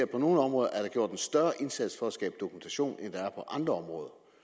på nogle områder er gjort en større indsats for at skabe dokumentation end der er på andre områder